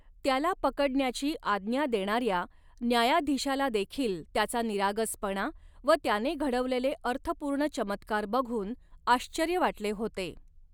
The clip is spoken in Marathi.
त्याला पकडण्याची आज्ञा देणाऱ्या न्यायाधीशालादेखील त्याचा निरागसपणा व त्याने घडवलेले अर्थपूर्ण चमत्कार बघून आश्चर्य वाटले होते.